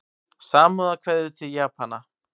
Samúðarkveðjur til Japana